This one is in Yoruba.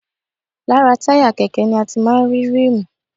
Lára táyà kẹ̀kẹ́ ni a ti máa ń rí ríìmù